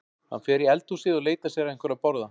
Hann fer í eldhúsið og leitar sér að einhverju að borða.